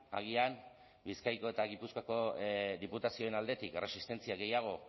agian bizkaiko eta gipuzkoako diputazioen aldetik erresistentzia gehiago